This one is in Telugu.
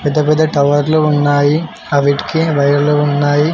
పెద్ద పెద్ద టవర్లు ఉన్నాయి అవిటికి వైర్లు ఉన్నాయి.